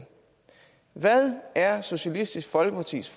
hvad er socialistisk folkepartis